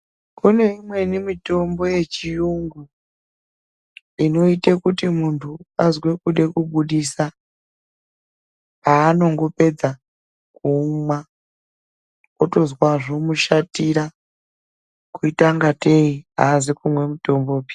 Kune imweni mitombo yechiyungu inoite kuti muntu azwe kude kubudisa. Paanongopedza kuumwa otozwa zvomushatira kuita kunga tei hazi kumwa mutombopi.